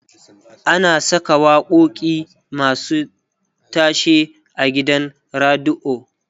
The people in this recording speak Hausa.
ana Saka waƙoƙi masu tashe a gidan radio